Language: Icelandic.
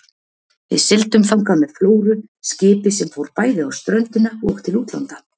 Við sigldum þangað með Flóru, skipi sem fór bæði á ströndina og til útlanda.